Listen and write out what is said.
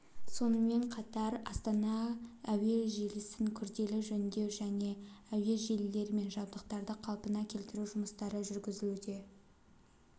сонымен қатар астана кв-тық әуе желісін күрделі жөндеу кв-тық және кв-тық әуе желілері мен жабдықтарды қалпына келтіру жұмыстары жүргізілуде